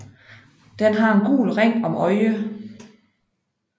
Den har en gul ring om øjet